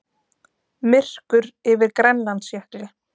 Myrkur yfir Grænlandsjökli.